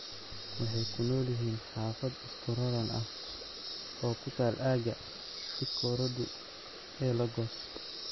Waxay ku nool yihiin xaafad isku raran ah oo ku taal aagga Ikorodu ee Lagos.